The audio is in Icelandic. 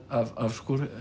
af